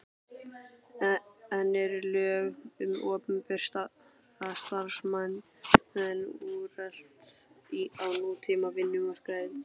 En eru lög um opinbera starfsmenn úrelt á nútíma vinnumarkaði?